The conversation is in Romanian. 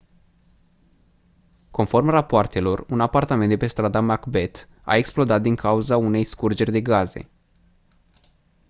conform rapoartelor un apartament de pe strada macbeth a explodat din cauza unei scurgeri de gaze